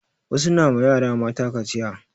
Wasu na ma yara mata kaciya